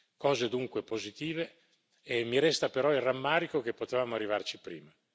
Cose dunque positive e mi resta però il rammarico che potevamo arrivarci prima.